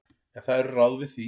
En það eru ráð við því.